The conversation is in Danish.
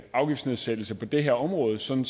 afgiftsnedsættelse på det her område sådan